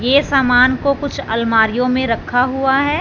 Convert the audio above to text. ये सामान को कुछ अलमारियों में रखा हुआ है।